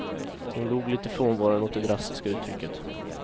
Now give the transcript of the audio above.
Hon log lite frånvarande åt det drastiska uttrycket.